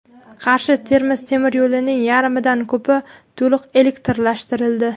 Qarshi Termiz temir yo‘lining yarmidan ko‘pi to‘liq elektrlashtirildi.